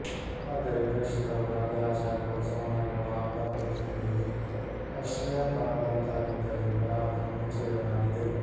ಆದರೆ ಪ್ರೇಕ್ಷಕರು ಬರದೆ ಆ ಜಾಗವು ಸೋಮಾರಿಗಳ ಅಪರ ಕೆಲಸಗಳಿಗೆ ಆಶ್ರಯ ತಾಣದಂತಾಗಿದ್ದರಿಂದ ಅದನ್ನು ಮುಚ್ಚಿ ಬಿಡಲಾಗಿದೆ